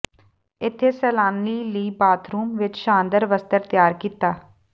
ਇੱਥੇ ਸੈਲਾਨੀ ਲਈ ਬਾਥਰੂਮ ਵਿਚ ਸ਼ਾਨਦਾਰ ਵਸਤਰ ਤਿਆਰ ਕੀਤਾ